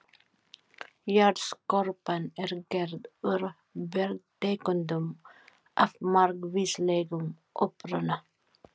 Jarðskorpan er gerð úr bergtegundum af margvíslegum uppruna.